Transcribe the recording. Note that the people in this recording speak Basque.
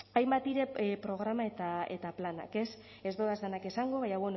hainbat dire programak eta planak ez dodaz danak esango baina